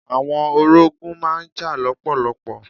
Àwọn orogún má n jà lọ́pọ̀lọpọ̀.